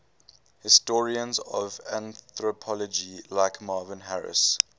historians of anthropology like marvin harris